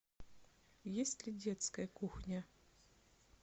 есть ли детская кухня